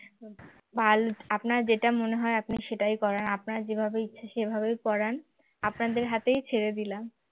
আপনার যেটা মনে হয় আপনি সেটাই করান আপনার যেভাবে ইচ্ছা সেভাবেই পড়ান আপনাদের হাতেই ছেড়ে দিলাম